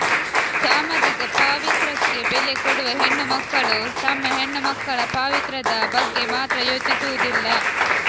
ಸಾಮಾಜಿಕ ಪಾವಿತ್ರಕ್ಕೆ ಬೆಲೆ ಕೊಡುವ ಹೆಣ್ಣುಮಕ್ಕಳು ತಮ್ಮ ಹೆಣ್ಣುಮಕ್ಕಳ ಪಾವಿತ್ರದ ಬಗ್ಗೆ ಮಾತ್ರ ಯೋಚಿಸುವುದಿಲ್ಲ